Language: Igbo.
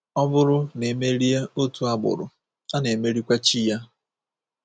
Ọ bụrụ na e merie otu agbụrụ, a na-emerikwa chi ya.